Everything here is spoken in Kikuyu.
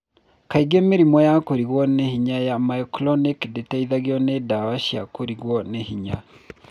Kaingĩ mĩrimũ ya kũringwo nĩ hinya ya myoclonic ndĩteithagĩo ni ndawa cia kũringwo nĩ hinya